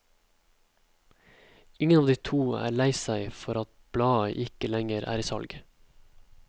Ingen av de to er lei seg for at bladet ikke lenger er i salg.